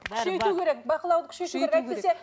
күшейту керек бақылауды күшейту керек